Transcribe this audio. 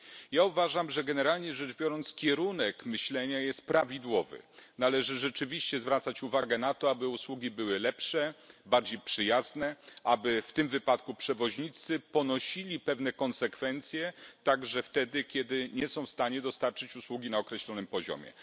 Ja uważam, że generalnie rzecz biorąc kierunek myślenia jest prawidłowy należy rzeczywiście zwracać uwagę na to, aby usługi były lepsze, bardziej przyjazne, aby w tym wypadku przewoźnicy ponosili pewne konsekwencje także wtedy, kiedy nie są w stanie dostarczyć usługi na określonym poziomie.